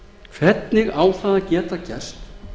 hvernig á það að geta gerst